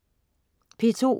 P2: